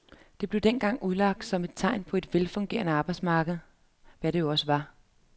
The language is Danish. Det blev dengang udlagt som tegn på et velfungerende arbejdsmarked, hvad det jo også var.